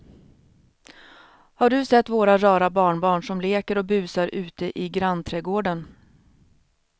Har du sett våra rara barnbarn som leker och busar ute i grannträdgården!